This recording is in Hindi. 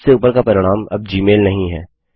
सबसे उपर का परिणाम अब जीमेल नहीं है